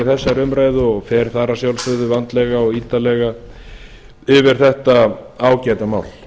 þessari umræðu og fer þar að sjálfsögðu vandlega og ítarlega yfir þetta ágæta mál